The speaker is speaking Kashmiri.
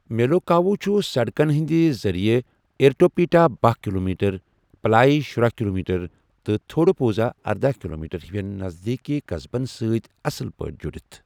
میلوکاووٗ چھُ سڑکن ہٕنٛدِ ذٔریع اِرٹوٗپیٹا باہ کِلومیٖٹر، پلایہ شُراہ کِلومیٖٹر، تہٕ تھوڈوٗپوٗزا ارداہ کِلومیٖٹر ہِوٮ۪ن نذدیٖکی قصبن سۭتۍ اصل پٲٹھۍ جُڑِتھ